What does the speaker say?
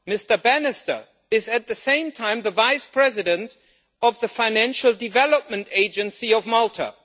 Mr Bannister, is, at the same time, the vice president of the Financial Development Agency of Malta?